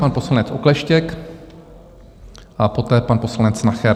Pan poslanec Okleštěk a poté pan poslanec Nacher.